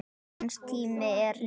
Hans tími er liðinn.